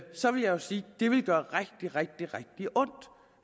så vil jeg sige at det ville gøre rigtig rigtig ondt